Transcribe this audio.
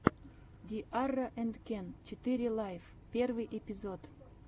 ди арра энд кен четыре лайф первый эпизод